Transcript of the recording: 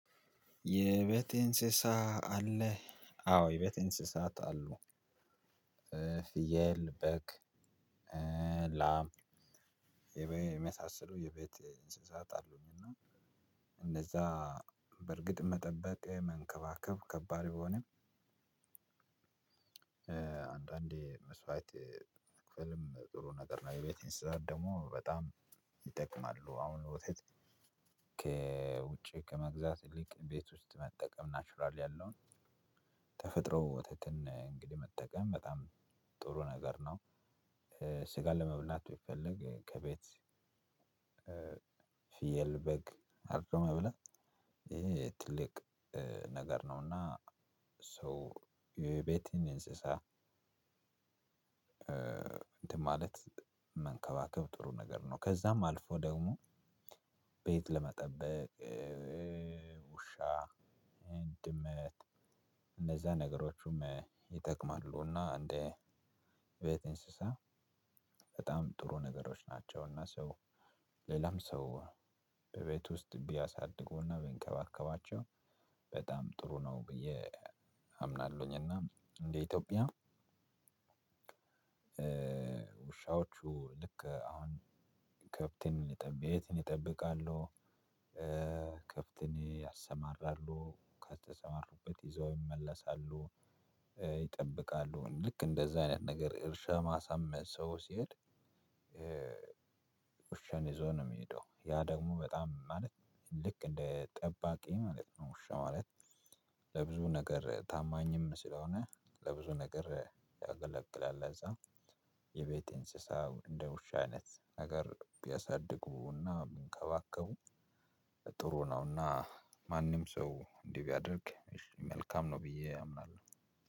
የቤት እንስሳ አለህ? አዎ የቤት እንስሳት አሉ። ፍየል በግ ላም የመሳሰሉ የቤት እንስሳት አሉኝ። እና እንደዛ በርግጥ መጠበቅ መንከባከብ ከባድ ቢሆንም። አንዳንዴ መስዋዕት መክፈልም ጥሩ ነገር ነው። የቤት እንስሳት ደግሞ በጣም ይጠቅማሉ። አሁን ወተት ከውጪ ከመግዛት ይልቅ ቤት ውስጥ መጠቀም ናቹራል ያለውን ተፈጥሮ ወተትን እንግዲህ መጠቀም በጣም ጥሩ ነገር ነው። ስጋ ለመብላት ቢፈልግ ከቤት ፊየል በግ አርዶ መብላት ይሄ ትልቅ ነገር ነውና ሶ የቤትን እንስሳ። እንትን ማለት መንከባከብ ጥሩ ነገር ነው። ከዛም አልፎ ደግሞ ቤት ለመጠበቅ ውሻ ድመት እንደዛ ነገሮቹም ይጠቅማሉ። እና እንደ ቤት እንስሳ በጣም ጥሩ ነገሮች ናቸውና። ሰው ሌላም ሰው በቤት ውስጥ ቢያሳድጉና ቢንከባከባቸው በጣም ጥሩ ነው ብዬ አምናለሁኝና። እንደ ኢትዮጵያ ውሻዎቹ ልክ አሁን ከብትን ይጠብ ቤትን እጠብቃለሁ። ከብትን ያሰማራሉ ከተሰማሩበት ይዘው ይመለሳሉ። ይጠብቃሉ ልክ እንደዛ አይነት ነገር እርሻ ማሳም ሰው ሲሄድ ውሻን ይዞ ነው የሚሄደው። ያ ደግሞ በጣም ማለት ልክ እንደ ጠባቂ ማለት ነው። ውሻ ማለት ለብዙ ነገር ታማኝም ስለሆነ ለብዙ ነገር ያገለግላል። ለዛ የቤት እንስሳው እንደ ውሻ አይነት ነገር ቢያሳድጉና ቢንከባከቡ ጥሩ ነውና። ማንም ሰው እንዲህ ቢያደርግ መልካም ነው ብዬ አምናለሁ።